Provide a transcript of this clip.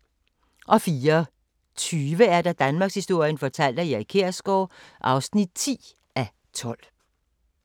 04:20: Danmarkshistorien fortalt af Erik Kjersgaard (10:12)*